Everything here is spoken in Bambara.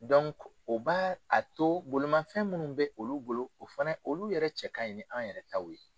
o ba a to bolomafɛn munnu bɛ olu bolo o fana olu yɛrɛ cɛ ka ɲi ni an yɛrɛ taw ye.